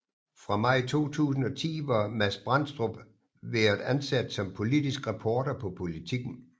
Fra maj 2010 var Mads Brandstrup været ansat som politisk reporter på Politiken